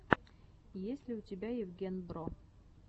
есть ли у тебя евген бро